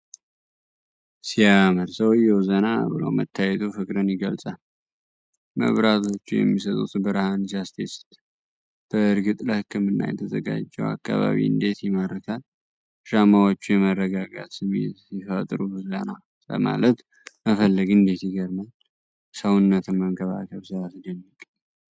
ሲያምር! ሰውዬው ዘና ብሎ መታየቱ ፍቅርን ይገልጻል! መብራቶቹ የሚሰጡት ብርሃን ሲያስደስት! በእርግጥ ለህክምና የተዘጋጀው አካባቢ እንዴት ይማርካል! ሻማዎቹ የመረጋጋት ስሜት ሲፈጥሩ! ዘና ለማለት መፈለግ እንዴት ይገርማል! ሰውነትን መንከባከብ ሲያስደንቅ!